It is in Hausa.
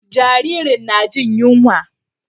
Jaririn na jin yunwa.